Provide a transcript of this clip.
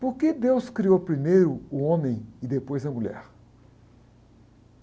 Por que Deus criou primeiro o homem e depois a mulher?